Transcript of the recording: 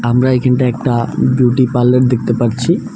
আমরা এখানটায় একটা বিউটি পার্লার দেখতে পারছি।